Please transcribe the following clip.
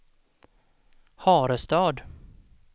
Harestad